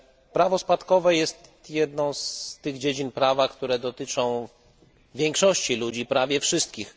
Prawo spadkowe jest jedną z tych dziedzin prawa, które dotyczą większości ludzi, prawie wszystkich.